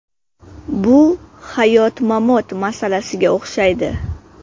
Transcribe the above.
Bu hayot-mamot masalasiga o‘xshaydi.